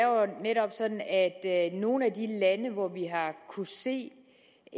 sådan at i nogle af de lande hvor vi har kunnet se